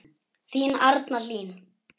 Þín Arna Hlín.